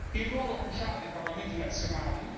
il ruolo cruciale dei parlamenti nazionali